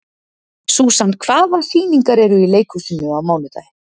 Susan, hvaða sýningar eru í leikhúsinu á mánudaginn?